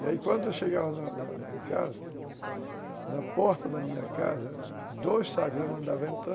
E aí quando eu chegava em casa, na porta da minha casa, dois sacos eu mandava entrar,